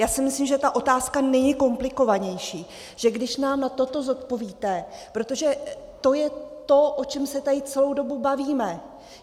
Já si myslím, že ta otázka není komplikovanější, že když nám na toto zodpovíte, protože to je to, o čem se tady celou dobu bavíme.